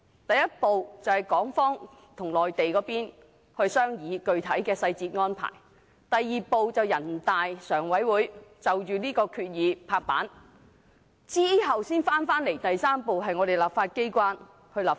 第一步是由港方與內地商議具體細節安排；第二步是全國人民代表大會常務委員會批准相關合作方案；然後第三步才返回立法機關立法。